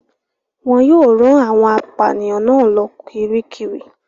Wọn yóò rán àwọn apànìyàn náà lọ Kiríkirì.